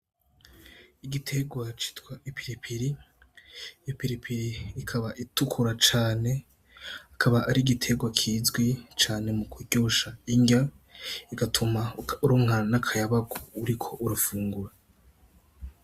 Igitegwa citwa ipiripiri, ipiripiri ikaba itukura cane ikaba ari igitegwa kizwi cane mukuryosha inrya igatuma uronka n' akayabagu uriko urafungura.